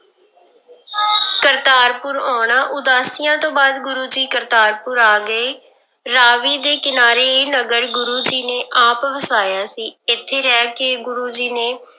ਕਰਤਾਰਪੁਰ ਆਉਣਾ, ਉਦਾਸੀਆਂ ਤੋਂ ਬਾਅਦ ਗੁਰੂ ਜੀ ਕਰਤਾਰਪੁਰ ਆ ਗਏ, ਰਾਵੀ ਦੇ ਕਿਨਾਰੇ ਇਹ ਨਗਰ ਗੁਰੂ ਜੀ ਨੇ ਆਪ ਵਸਾਇਆ ਸੀ, ਇੱਥੇ ਰਹਿ ਕੇ ਗੁਰੂ ਜੀ ਨੇ